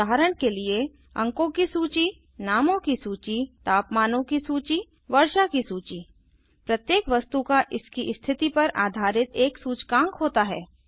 उदाहरण के लिए अंकों की सूची नामों की सूची तापमानों की सूची वर्षा की सूची प्रत्येक वस्तु का इसकी स्थिति पर आधारित एक सूचकांक होता है